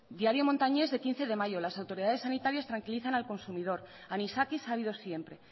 diario montañés de quince de mayo las autoridades sanitarias tranquilizan al consumidor anisakis ha habido siempre